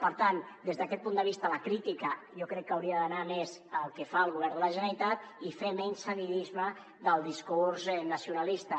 per tant des d’aquest punt de vista la crítica jo crec que hauria d’anar més al que fa el govern de la generalitat i fer menys seguidisme del discurs nacionalis·ta